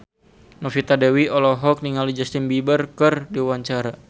Novita Dewi olohok ningali Justin Beiber keur diwawancara